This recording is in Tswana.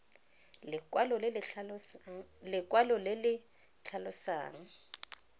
le lekwalo le le tlhalosang